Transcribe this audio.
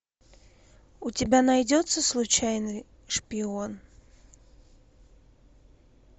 у тебя найдется случайный шпион